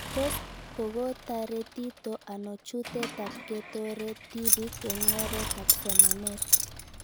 Tos kokotaretito ano chutet ab ketoret tipik eng'oret ab somanet